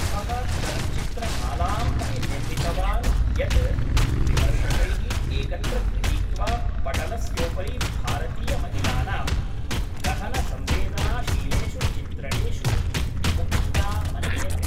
सः चलच्चित्रमालाम् अपि निर्मितवान् यत्, विमर्शकैः एकत्र गृहीत्वा पटलस्योपरि भारतीयमहिलानां गहनसंवेदनाशीलेषु चित्रणेषु मुख्या मन्यते।